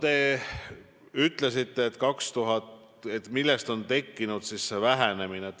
Te küsisite, millest on tekkinud see vähenemine.